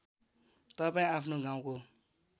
तपाईँ आफ्नो गाउँको